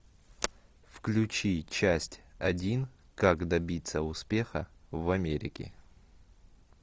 включи часть один как добиться успеха в америке